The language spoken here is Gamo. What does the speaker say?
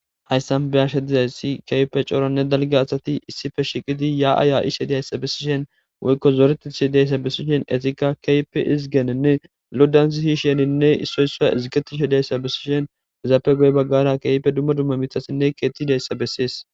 hayssan beyashe dizayssi keype cooranne dalge asati issife shiqidi ya7aaya7ishe diyayssa bessishen woykko zoretiishe diayssa bissishen etika keype izgenenne loddans hiisheninne issoyso izgeti she dayssa bissishen hezaapegoy baggara keype dumma dumma mithasinne keettidayssa bessees